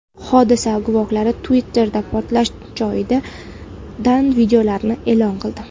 Hodisa guvohlari Twitter’da portlash joyidan videolarni e’lon qildi.